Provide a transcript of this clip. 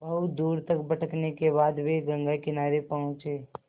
बहुत दूर तक भटकने के बाद वे गंगा किनारे पहुँचे